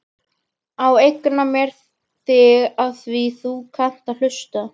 Ég eigna mér þig afþvíað þú kannt að hlusta.